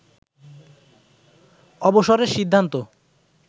অবসরের সিদ্ধান্ত